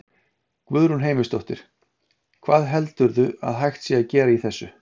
Guðrún Heimisdóttir: Hvað heldurðu að sé hægt að gera í þessu?